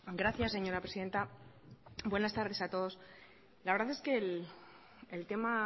gracias señora presidenta buenas tardes a todos la verdad es que el tema